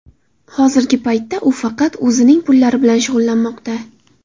Hozirgi paytda u faqat o‘zining pullari bilan shug‘ullanmoqda.